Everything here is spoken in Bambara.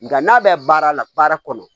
Nga n'a bɛ baara la baara kɔnɔ